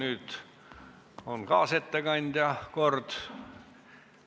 Nüüd on kaasettekandja kord.